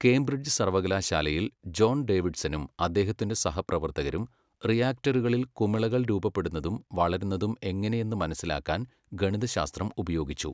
Cambridge സർവ്വകലാശാലയിൽ John ഡേവിഡ്സണും അദ്ദേഹത്തിന്റെ സഹപ്രവർത്തകരും റിയാക്ടറുകളിൽ കുമിളകൾ രൂപപ്പെടുന്നതും വളരുന്നതും എങ്ങനെയെന്ന് മനസ്സിലാക്കാൻ ഗണിതശാസ്ത്രം ഉപയോഗിച്ചു.